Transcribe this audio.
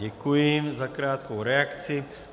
Děkuji za krátkou reakci.